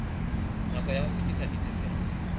nako ya ho fetisa ditifelo